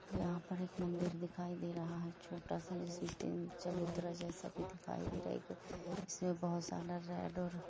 यहां पर एक मंदिर दिखाई दे रहा है छोटा सा जिसमें तीन चबूतरा जैसा भी दिखाई दे रहा है इसमें बहुत ज्यादा रेड और--